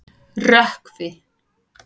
Rökkvi